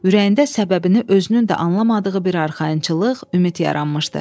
Ürəyində səbəbini özünün də anlamadığı bir arxayınçılıq, ümid yaranmışdı.